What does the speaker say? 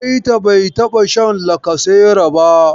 Baita bai taɓa shan lacasera ba.